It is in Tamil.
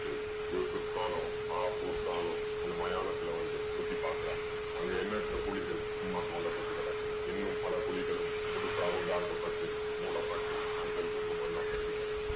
கேட்குது. யூசுஃப் கானும் மாஃபூஸ் கானும் அந்த மயானத்துல வந்து சுத்தி பாக்கறாங்க. அங்க எண்ணற்ற குழிகள் சும்மா தோண்டப்பட்டு கிடக்குது. இன்னும் பல குழிகளும் புதுசா உண்டாக்கப்பட்டு மூடப்பட்டு மஞ்சள், குங்குமம் எல்லாம் சிதறி கிடக்குது.